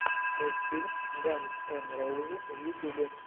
мультфильм ганз эн роузиз в ютубе